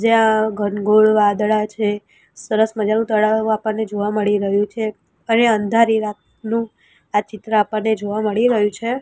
જ્યાં ઘનઘોર વાદળા છે સરસ મજાનું તળાવ આપણને જોવા મળી રહ્યું છે અને અંધારી રાતનું આ ચિત્ર આપણને જોવા મળી રહ્યું છે.